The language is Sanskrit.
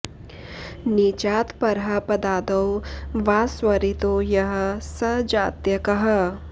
नीचात् परः पदादौ वा स्वरितो यः स जात्यकः